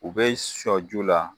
U be sɔjula